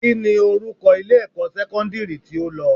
Kíni orúkọ ilé-ẹ̀kọ́ sẹ́kọ́ndírì tí o lọ?